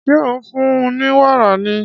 Ṣé ò ń fún un ní wàrà ni?